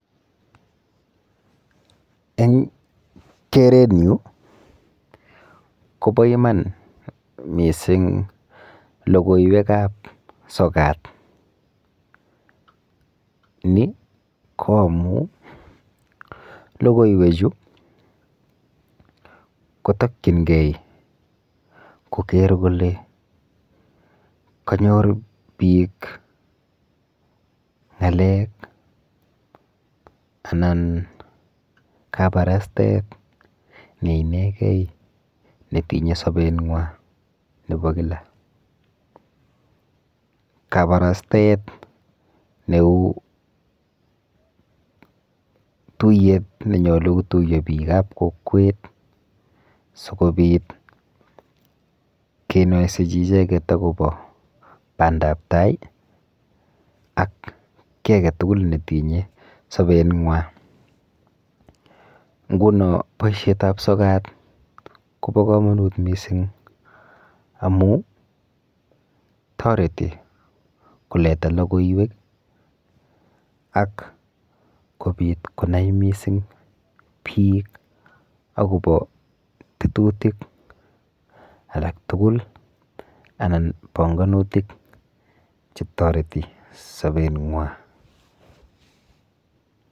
Eng kerenyu kopo iman mising logoiwekap sokat. Ni ko amu logoiwechu kotokchingei koker kole kanyor biik ang'alek anan kabarastaet neinegei netinye sobenwa nepo kila. Kabarastaet neu tuiyet nenyolu kotuiyo biikap kokwet sikobit kenoisechi icheket akopo bandaptai ak kiy aketugul netinye sobenwa, nguno boishetap sokat kopo komonut mising amu toreti koleta logoiwek ak kobit konai mising biik akopo tetutik alak tugul anan panganutik chetoreti sobeng'wa.